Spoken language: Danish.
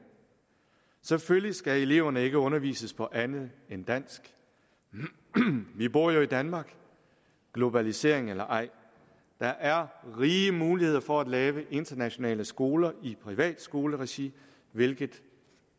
selvfølgelig skal eleverne ikke undervises på andet end dansk vi bor jo i danmark globalisering eller ej der er rige muligheder for at lave internationale skoler i privatskoleregi hvilket